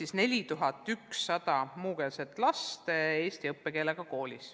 Selle õppeaasta andmed tulevad alles novembri seisuga.